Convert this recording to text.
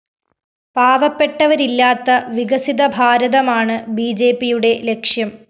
പാവപ്പെട്ടവരില്ലാത്ത വികസിത ഭാരതമാണ് ബിജെപിയുടെ ലക്ഷ്യം